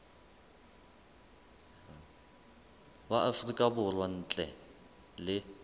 wa afrika borwa ntle le